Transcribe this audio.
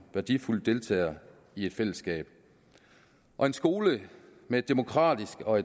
værdifuld deltager i et fællesskab og en skole med et demokratisk og